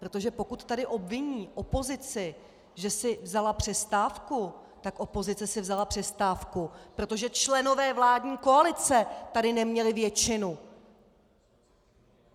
Protože pokud tady obviní opozici, že si vzala přestávku, tak opozice si vzala přestávku, protože členové vládní koalice tady neměli většinu!